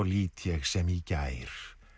lít ég sem í gær